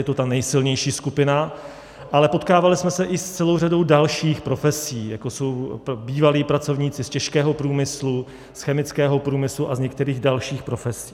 Je to ta nejsilnější skupina, ale potkávali jsme se i s celou řadou dalších profesí, jako jsou bývalí pracovníci z těžkého průmyslu, z chemického průmyslu a z některých dalších profesí.